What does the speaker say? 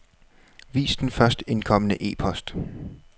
Vis den først indkomne e-post.